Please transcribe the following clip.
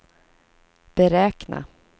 beräkna